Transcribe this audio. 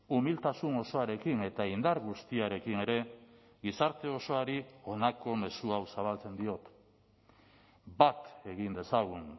umiltasun osoarekin eta indar guztiarekin ere gizarte osoari honako mezu hau zabaltzen diot bat egin dezagun